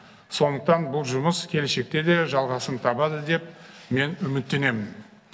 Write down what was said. сондықтан бұл жұмыс келешекте де жалғасын табады деп мен үміттенемін